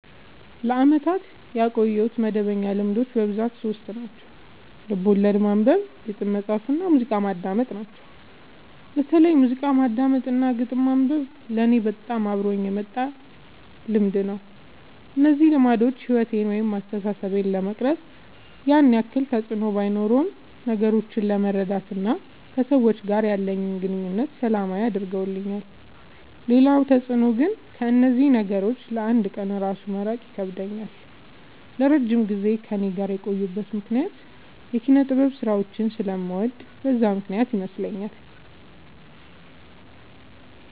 ለአመታት ያቆየሁት መደበኛ ልማዶች በብዛት ሶስት ናቸው። ልቦለድ ማንበብ፣ ግጥም መፃፍ እና ሙዚቃ ማዳመጥ ናቸው። በተለይ ሙዚቃ ማዳመጥ እና ግጥም ማንበብ ለኔ በጣም አብሮኝ የመጣ ልምድ ነው። እነዚህ ልማዶች ሕይወቴን ወይም አስተሳሰቤን ለመቅረጽ ያን ያክል ተፅዕኖ ባኖረውም ነገሮችን ለመረዳት እና ከሰዎች ጋር ያለኝን ግንኙነት ሰላማዊ አድርገውልኛል ሌላው ተፅዕኖ ግን ከእነዚህ ነገሮች ለ አንድ ቀን እራሱ መራቅ ይከብደኛል። ለረጅም ጊዜ ከእኔ ጋር የቆዩበት ምክንያት የኪነጥበብ ስራዎችን ስለምወድ በዛ ምክንያት ይመስለኛል።